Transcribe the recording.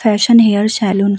fashion hair salon --